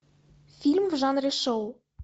фильм в жанре шоу